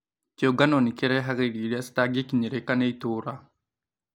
Kĩũngano nĩkĩrehaga irio iria citangĩkinyĩrĩka nĩ itũra